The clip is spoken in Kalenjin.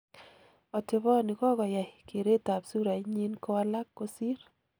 Oteboni kokayai keretab surait nyin kowalak kosir.